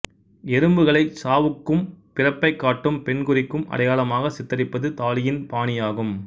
எறும்புகளைச் சாவுக்கும் பிறப்பைக் காட்டும் பெண்குறிக்கும் அடையாளமாகச் சித்தரிப்பது தாலீயின் பாணி ஆகும்